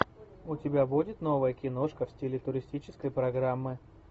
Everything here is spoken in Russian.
у тебя будет новая киношка в стиле туристической программы